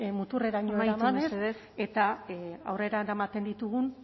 muturreraino eramanez amaitu mesedez eta aurrera eramaten ditugun